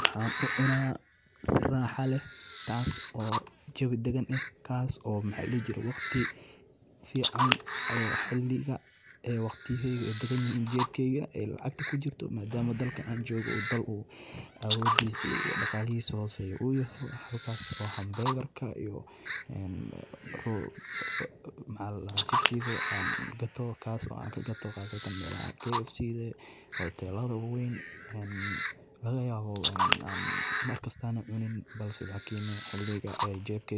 Burger-ka waa cunto caan ah oo caalami ahaan laga cuno, gaar ahaan waddamada reer galbeedka, waxaana uu ka kooban yahay hilib la dubay sida hilib lo’aad, digaag ama kalluun, oo lagu dhex rido rooti wareegsan oo la yiraahdo bun, waxaana la socdo khudaar kala duwan sida basal, yaanyo, basal-cad, maraq salad ah iyo suugada macaan sida mayonnaise, ketchup